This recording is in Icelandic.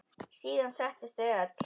Síðan settust þau öll.